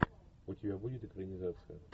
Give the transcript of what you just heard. у тебя будет экранизация